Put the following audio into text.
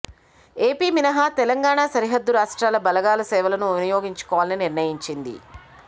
AP మినహా తెలంగాణ సరిహద్దు రాష్ట్రాల బలగాల సేవలను వినియోగించుకోవాలని నిర్ణయించింది